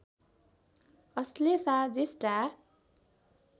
Ashlesha Jyeshtha